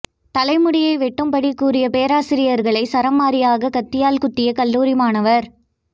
தலைமுடியை வெட்டும்படி கூறிய பேராசிரியர்களை சரமாரியாக கத்தியால் குத்திய கல்லூரி மாணவர்